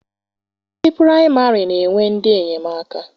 Ndị praịmarị na-enwe ndị enyemaka.